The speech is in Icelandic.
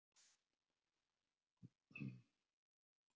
Lúlli ljómaði eins og sól og Örn reyndi að brosa líka.